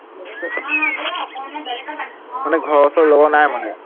মানে ঘৰৰ ওচৰ লগৰ নাই মানে?